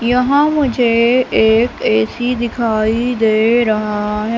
यहां मुझे एक ए_सी दिखाई दे रहा है।